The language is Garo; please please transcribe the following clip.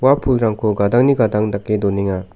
pulrangko gadangni gadang dake donenga.